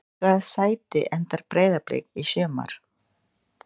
Í hvaða sæti endar Breiðablik í sumar?